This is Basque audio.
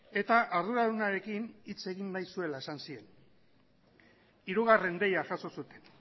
eta arduradunarekin hitz egin nahi zuela esan zien hirugarren deia jaso zuten